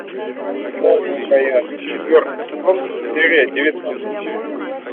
новенькая четвертый сезон серия девятнадцать